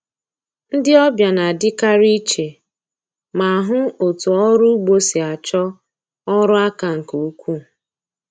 Ndi ọbịa na-adịkarị iche ma hụ otú ọrụ ugbo si achọ ọrụ aka nke ukwuu.